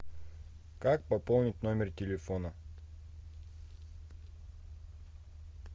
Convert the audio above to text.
как пополнить номер телефона